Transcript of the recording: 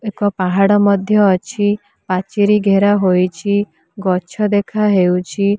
ଏକ ପାହାଡ ମଧ୍ୟ ଅଛି ପାଚେରି ଘେରା ହୋଇଛି ଗଛ ଦେଖାହେଉଛି।